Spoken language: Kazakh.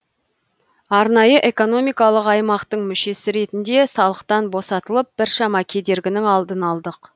арнайы экономикалық аймақтың мүшесі ретінде салықтан босатылып біршама кедергінің алдын алдық